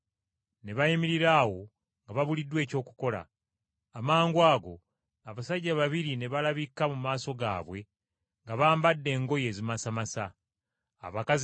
Ne bayimirira awo nga babuliddwa eky’okukola. Amangwago, abasajja babiri ne balabika mu maaso gaabwe nga bambadde engoye ezimasamasa ng’okumyansa kw’eraddu.